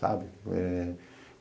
Sabe? Eh